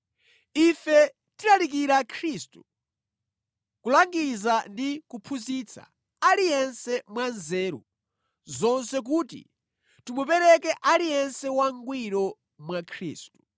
Ife tikulalikira Khristu, kulangiza ndi kuphunzitsa aliyense mwa nzeru zonse kuti timupereke aliyense wangwiro mwa Khristu.